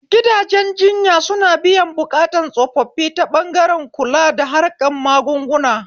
Gidajen jinya suna biyan buƙatun tsofaffi ta ɓangaren kula da harkan magunguna